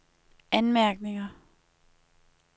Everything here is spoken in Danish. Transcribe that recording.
anmærkninger